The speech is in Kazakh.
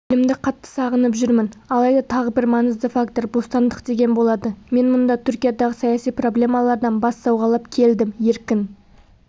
елімді қатты сағынып жүрмін алайда тағы бір маңызды фактор бостандық деген болады мен мұнда түркиядағы саяси проблемалардан бас сауғалап келдім еркін